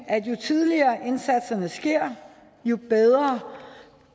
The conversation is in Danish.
at jo tidligere indsatserne sker jo bedre